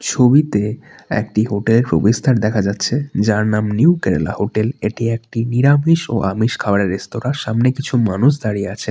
ছবিতে একটি হোটেলের প্রবেশদ্বার দেখা যাচ্ছে যার নাম নিউ কেরালা হোটেল এটি একটি নিরামিষ এবং আমিষ খাবারের রেস্তোরাঁ সামনে কিছু মানুষ দাঁড়িয়ে আছেন।